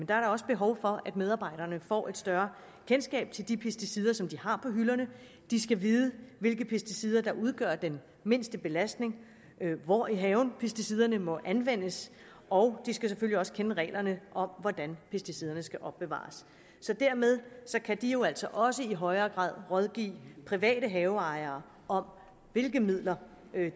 der også behov for at medarbejderne får et større kendskab til de pesticider som de har på hylderne de skal vide hvilke pesticider der udgør den mindste belastning hvor i haven pesticiderne må anvendes og de skal selvfølgelig også kende reglerne om hvordan pesticiderne skal opbevares dermed kan de jo altså også i højere grad rådgive private haveejere om hvilke midler